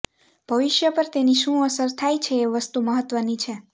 ભવિષ્ય પર તેની શું અસર થાય છે એ વસ્તુ મહત્વની છે